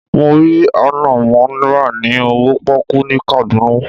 Mo rí ànànmọ́ rà ní owó pọ́kú ní Kaduna.